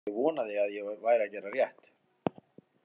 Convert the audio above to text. Ég vonaði að ég væri að gera rétt.